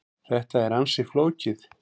Þetta er ansi flókið.